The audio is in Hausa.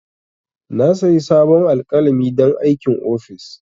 Na sayi sabon alƙalami don aikin office.